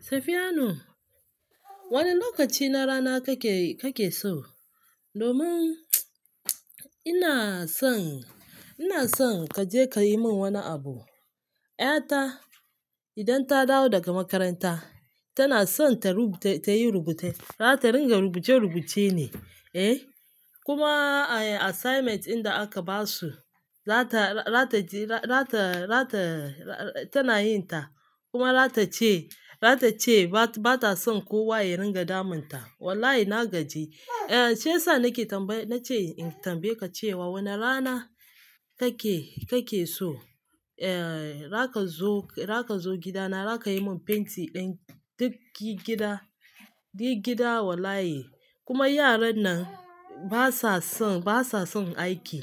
Safiyanu, wane lokaci na rana kake, kake so? Domin ina son, ina son ka je ka yi min wani abu. Ƴata idan ta dawo daga makaranta tana son ta rubu-- ta yi rubuce, za ta ringa rubuce rubuce ne, eh. Kuma assignments inda anka ba su, za ta rata ji-- zata, zata, tana yin ta kuma zata ce, zata ce ba ta son kowa ya ringa damun ta. Wallahi na gaji. Eh, shi yasa nake tambayole-- na ce in tambaye ka cewa wane rana kake, kake so, eh, zaka zo, zaka zo gida na zaka yi mun fenti ɗin duk gidan, duk gida wallahi. Kuma yaran nan basa son, basa son aiki.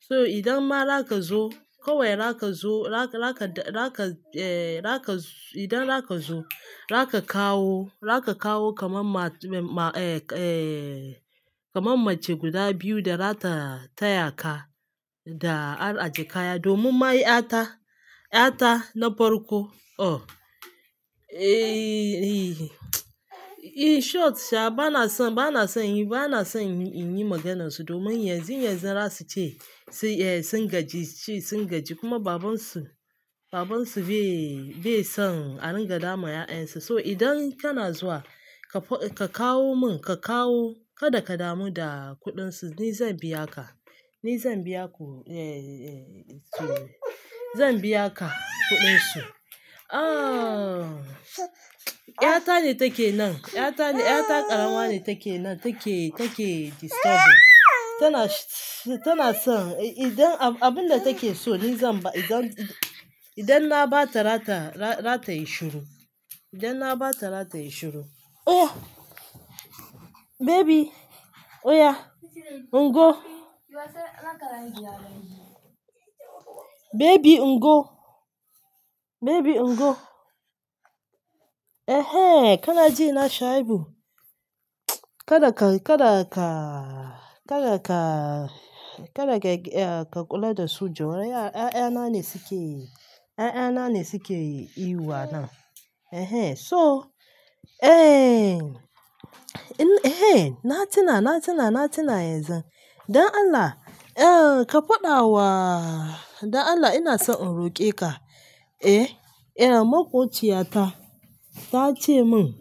So idan ma za ka zo, kawai za ka zo, za ka, za ka, eh, za ka, idan za ka zo, za ka kawo, za ka kawo kaman ma, ma, eh, eh, kamar mace guda biyu da za ta, ta yaka da aje kaya. Domin ma ƴata, ƴata na farko, oh, eh, eh short sha bana son, bana son yin, bana son in yi maganar su domin yanzu, yanzu za su ce su, eh, sun gaji, su sun gaji kuma babansu, babansu bai, bai son a ringa damun ƴa'ƴan sula. So idan kana zuwa, ka kawo mun, ka kawo kada ka damu da kuɗin su ni zan biya ka. Ni zan biya ku, eh, eh, su. Zan biya ka kuɗin su. Ah, ƴata ne take nan, ƴata ne, ƴata ƙarama ne take nan take, take disturbing. Tana, tana son idan abun da take so ni zan ba-- idan, idan na ba ta zata, zata yi shiru. Idan na ba ta zata yi shiru. Oh baby, oya, ngo. Baby ngo, baby ngo. Eh hen kana ji na Shaibu? Kada ka, kada ka, kada ka, kada ka, ka kula da su jiyo. Ƴa'ƴa na ne suke, ƴa'ƴa na ne suke ihu a nan. Ehen, so eh, eh na tuna, na tuna, na tuna yanzun. Don Allah, eh ka faɗa wa, don Allah ina son in roƙe ka. Eh, eh makociyata ta ce mun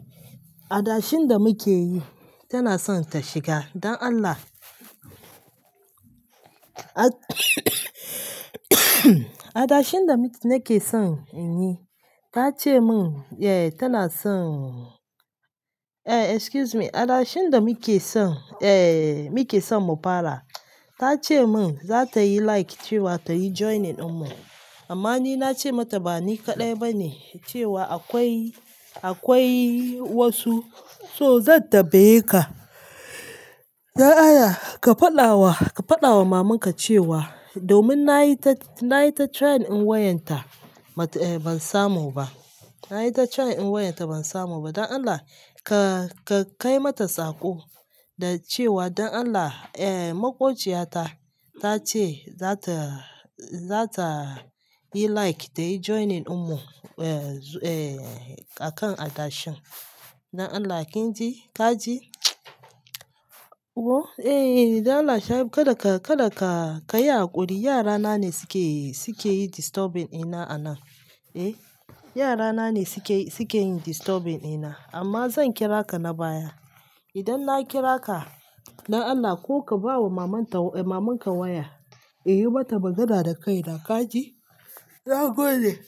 adashin da muke yi tana son ta shiga. Don Allah. Adashin da muke son in yi ta ce mun eh tana son, eh excuse me, adashin da muke son, eh muke son mu fara ta ce mun za ta yi, like cewa ta yi joining mu. Amma ni nace mata ba ni kaɗai bane, cewa akwai wasu, so zan tambayeka don Allah ka faɗa wa, ka faɗa wa mamanka cewa, domin na yi ta, na yi ta trying in wayan ta, ban samu ba. Na yi ta trying in wayar ta ban samu ba. Don Allah ka, ka kai mata saƙo da cewa don Allah, eh makociyata ta ce za ta, za ta yi like ta yi joining ɗin mu, eh, eh a kan adashin. Don Allah kin ji? Ka ji? Oho, eh, eh don Allah Shaibu kada ka, kada ka yi haƙuri. Yara na ne suke, suke yi disturbing ɗina a nan. Eh, yara na ne suke, suke yin disturbing ɗina amma zan kira ka na baya. Idan na kira ka don Allah ko ka ba wa maman ta, mamanka waya, in yi mata magana da kaina ka ji? Na goge.